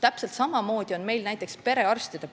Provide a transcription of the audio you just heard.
Täpselt samamoodi on näiteks perearstipraksistega.